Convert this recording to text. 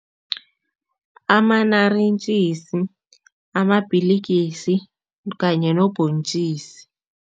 Ama-naartjies, kanye nobhontjisi.